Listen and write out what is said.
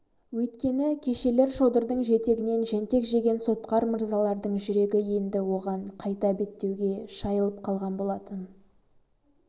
өйткені кешелер шодырдың жетегінен жентек жеген сотқар мырзалардың жүрегі енді оған қайта беттеуге шайылып қалған болатын